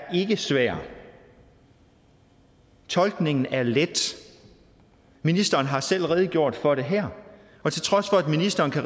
svær tolkningen er let ministeren har selv redegjort for det her ministeren kan